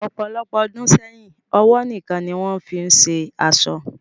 Ọpọlọpọ̀ ọdún sẹyìn, ọwọ níkan ni wọn fìí ń ṣe aṣọ